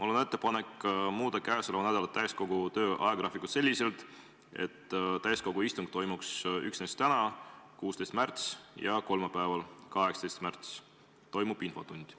Mul on ettepanek muuta käesoleva nädala täiskogu töö ajagraafikut selliselt, et täiskogu istung toimuks üksnes täna, 16. märtsil, ja kolmapäeval, 18. märtsil toimuks infotund.